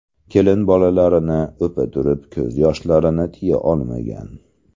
Kelin bolalarni o‘pa turib ko‘z yoshlarini tiya olmagan.